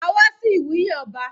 A wá sí ìwúyè ọba.